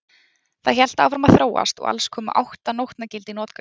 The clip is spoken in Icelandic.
Það hélt áfram að þróast og alls komust átta nótnagildi í notkun.